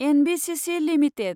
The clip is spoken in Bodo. NBCC limited